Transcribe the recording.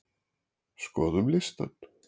Skoðum listann!